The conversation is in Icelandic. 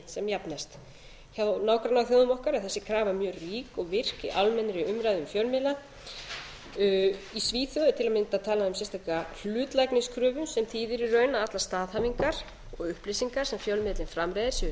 sem jafnast hjá nágrannaþjóðum okkar er þessi krafa mjög rík og virk í almennri umræðu um fjölmiðla í svíþjóð er til að mynda talað um sérstaka hlutlægniskröfu sem þýðir í raun að allar staðhæfingar og upplýsingar sem fjölmiðillinn framreiðir séu